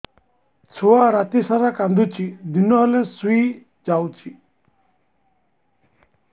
ଛୁଆ ରାତି ସାରା କାନ୍ଦୁଚି ଦିନ ହେଲେ ଶୁଇଯାଉଛି